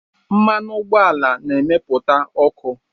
Mmanụ ụgbọala na-emepụta ọkụ